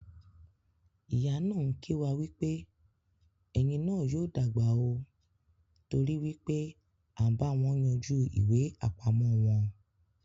Ìyá náà kì wá wípé "Ẹ́ yín náà yóò dàgbà óò" t'ori wípé à ń báwọn yanjú ìwé apamo wọn.